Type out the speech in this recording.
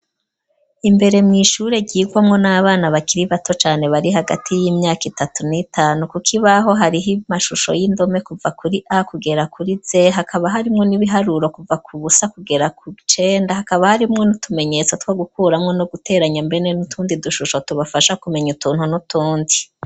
Imbere mu ishure ryirwano n'abana bakiri bato cane bari hagati y'imyaka itatu n'itanu kukibaho hariho amashusho y'indome kuva kuri a kugera kuri z hakaba harimwo n'ibiharuro kuva ku busa kugera kw'icenda hakaba harimwo n'utumenyetso two gukuranwo no guteranya mbene n'utundi dushusho tubafasha kumenya utuntu n'utundi.